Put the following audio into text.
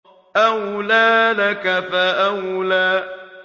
أَوْلَىٰ لَكَ فَأَوْلَىٰ